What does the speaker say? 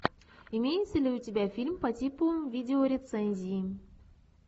имеется ли у тебя фильм по типу видеорецензии